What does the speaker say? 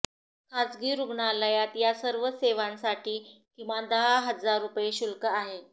खासगी रुग्णालयात या सर्व सेवांसाठी किमान दहा हजार रुपये शुल्क आहे